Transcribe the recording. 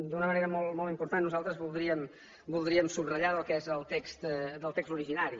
d’una manera molt important nosaltres voldríem subratllar del que és el text originari